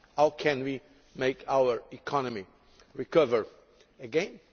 How can we make our economy recover again?